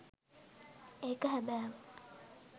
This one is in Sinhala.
ඒක හැබෑව